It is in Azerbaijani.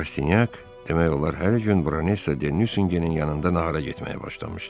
Rastinyak demək olar hər gün Baronessa Denyüsenin yanında nahara getməyə başlamışdı.